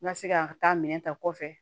N ka se ka taa minɛn ta kɔfɛ